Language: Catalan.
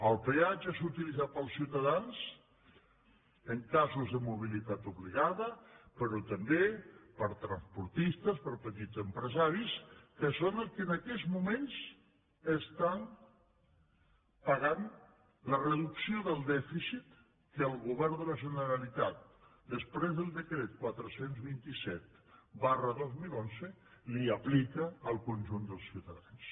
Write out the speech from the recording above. el peatge és utilitzat pels ciutadans en casos de mobilitat obligada però també per transportistes per petits empresaris que són els que en aquests moments paguen la reducció del dèficit que el govern de la generalitat després del decret quatre cents i vint set dos mil onze aplica al conjunt dels ciutadans